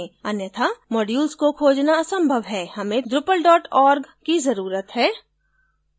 अन्यथा modules को खोजना असंभव है हमें drupal dot org की जरूरत है